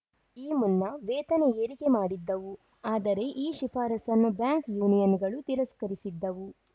ಈ ಮುನ್ನವೇತನ ಏರಿಕೆ ಮಾಡಿದ್ದವು ಅದರೆ ಈ ಶಿಫಾರಸನ್ನು ಬ್ಯಾಂಕ್‌ ಯೂನಿಯನ್‌ಗಳು ತಿರಸ್ಕರಿಸಿದ್ದವು